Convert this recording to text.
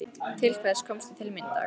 Til hvers komstu til mín í dag?